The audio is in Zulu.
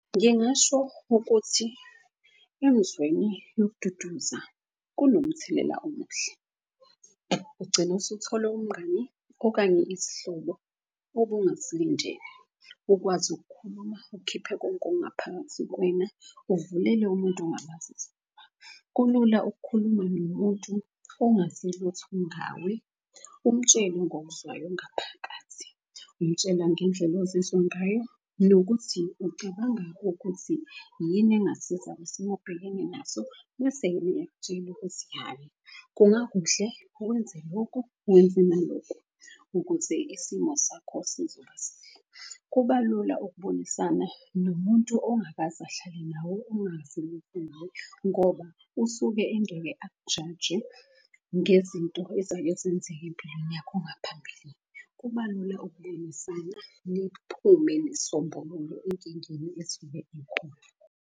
Ngingasho ukuthi emzweni yokududuza kunomthelela omuhle, ugcine usuthola umngani okanye isihlobo obungasilindele. Ukwazi ukukhuluma ukhiphe konke okungaphakathi kuwena, uvulele umuntu ongamazi isifuba. Kulula ukukhuluma nomuntu ongazi lutho ngawe. Umtshele ngokuzwayo ngaphakathi, umtshela ngendlela ozizwa ngayo nokuthi ucabanga ukuthi yini engasiza kwisimo abhekene naso. Bese ukuthi, hhayi kungakuhle wenze loku wenze naloku ukuze isimo sakho sizoba sihle. Kuba lula ukubonisana nomuntu ongakaze ahlale nawe ongazi lutho . Ngoba usuke engeke akujaje ngezinto ezake zenzeka empilweni yakho ngaphambilini. Kuba lula ukukhulumisana, niphume nesombululo enkingeni esuke ikhona.